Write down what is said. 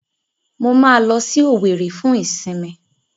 Mo máa lọ sí Òwèrì fún ìsìnmi.